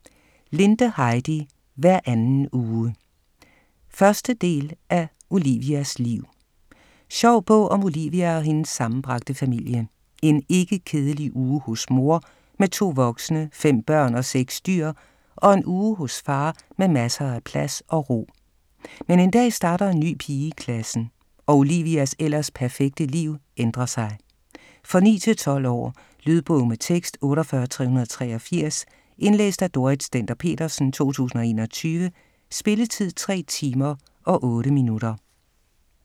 Linde, Heidi: Hver anden uge 1. del af Olivias liv. Sjov bog om Olivia og hendes sammenbragte familie. En ikke-kedelig uge hos mor med to voksne, fem børn og seks dyr og en uge hos far med masser af plads og ro. Men en dag starter en ny pige i klassen og Olivias ellers perfekte liv ændrer sig. For 9-12 år. Lydbog med tekst 48383 Indlæst af Dorrit Stender-Petersen, 2021. Spilletid: 3 timer, 8 minutter.